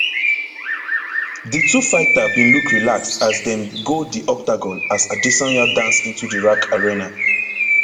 di two fighter bin look relaxed as dem dey go di octagon as adesanya dance into di rac arena